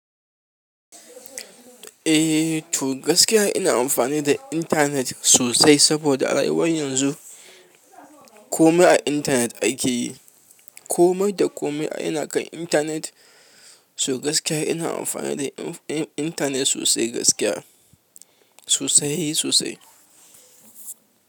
Eh to gaskiya ina amfani da internet sosai saboda a rayuwar yanzu komai a internet akeyi kome da kome ina kan intanet, so gaskiya ina amfani da intanet sosai gaskiya, sosai sosai.